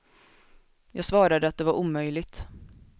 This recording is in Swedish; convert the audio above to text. Jag svarade att det var omöjligt.